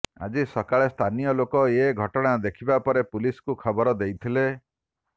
ଆଜି ସକାଳେ ସ୍ଥାନୀୟ ଲୋକେ ଏ ଘଟଣା ଦେଖିବା ପରେ ପୁଲିସକୁ ଖବର ଦେଇଥିଲେ